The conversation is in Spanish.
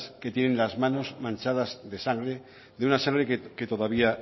que tienen las manos manchadas de sangre de una sangre que todavía